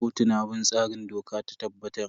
Kotu na bin tsarin da doka ta tabbatar.